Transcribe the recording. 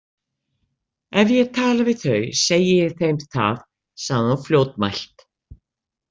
Ef ég tala við þau segi ég þeim það, sagði hún fljótmælt.